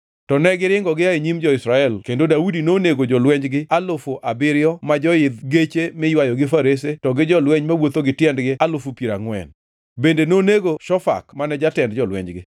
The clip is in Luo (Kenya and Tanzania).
To negiringo gia e nyim jo-Israel kendo Daudi nonego jolwenjgi alufu abiriyo ma joidho geche miywayo gi farese to gi jolweny mawuotho gi tiendgi alufu piero angʼwen. Bende nonego Shofak mane jatend jolwenjgi.